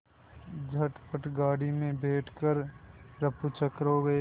झटपट गाड़ी में बैठ कर ऱफूचक्कर हो गए